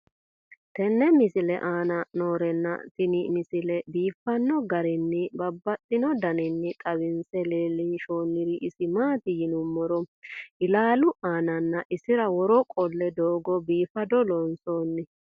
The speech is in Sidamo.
tenne misile aana noorina tini misile biiffanno garinni babaxxinno daniinni xawisse leelishanori isi maati yinummoro ilaallu aannaanna isira woroo qole doogo biiffaddo loonsoonni